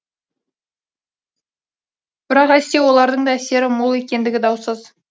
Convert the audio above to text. бірақ әсте олардың да әсері мол екендігі даусыз